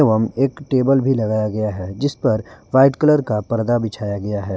एवं एक टेबल भी लगाया गया है जिस पर वाइट कलर का पर्दा बिछाया गया है।